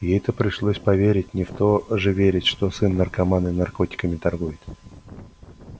ей-то пришлось поверить не в то же верить что сын наркоман и наркотиками торгует